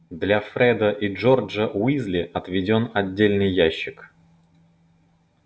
для фреда и джорджа уизли отведён отдельный ящик